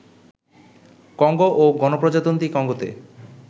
Congo ও গণপ্রজাতন্ত্রী কঙ্গোতে